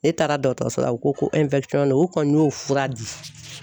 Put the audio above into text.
Ne taara dɔgɔtɔrɔso la u ko ko u kɔni y'o fura di.